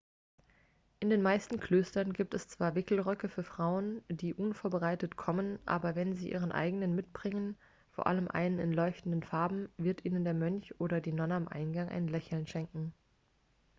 in den meisten klöstern gibt es zwar wickelröcke für frauen die unvorbereitet kommen aber wenn sie ihren eigenen mitbringen vor allem einen in leuchtenden farben wird ihnen der mönch oder die nonne am eingang ein lächeln schenken